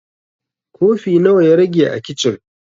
Kofi nawa ya rage a kicin?